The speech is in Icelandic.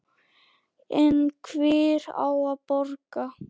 En hver á að borga?